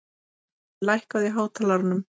Boði, lækkaðu í hátalaranum.